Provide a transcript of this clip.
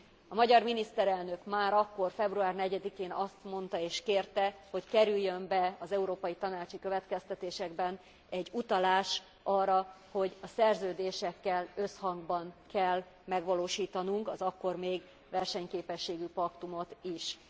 A magyar miniszterelnök, már akkor, február 4 én azt mondta és kérte, hogy kerüljön be az Európai Tanácsi következtetésekbe egy utalás arra, hogy a szerződésekkel összhangban kell megvalósítanunk az akkor még versenyképességi paktumot is.